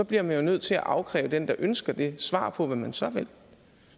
bliver vi jo nødt til at afkræve den der ønsker det svar på hvad man så vil